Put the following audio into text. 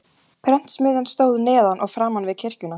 Prentsmiðjan stóð neðan og framan við kirkjuna.